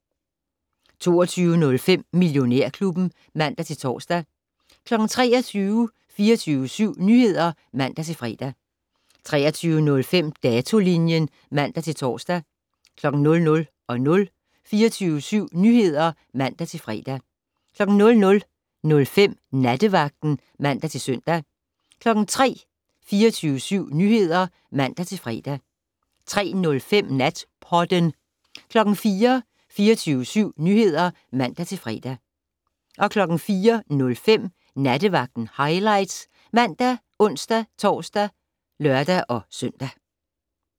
22:05: Millionærklubben (man-tor) 23:00: 24syv Nyheder (man-fre) 23:05: Datolinjen (man-tor) 00:00: 24syv Nyheder (man-fre) 00:05: Nattevagten (man-søn) 03:00: 24syv Nyheder (man-fre) 03:05: Natpodden 04:00: 24syv Nyheder (man-fre) 04:05: Nattevagten Highlights ( man, ons-tor, lør-søn)